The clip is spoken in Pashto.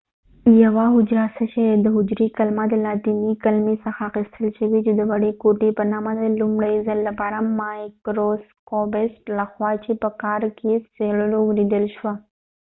یوه حجره څه شي دي د حجری کلمه د لاتینی کلمی څخه اخستل شوي چې د وړی کوټی په نامه ده د لومړۍ ځل لپاره د مایکروسکوپسټ له خوا چې په کارک یې څیړلو ولیدل شوه